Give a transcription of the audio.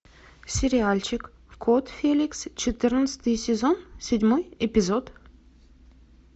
сериальчик кот феликс четырнадцатый сезон седьмой эпизод